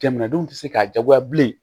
Jamanadenw tɛ se k'a jagoya bilen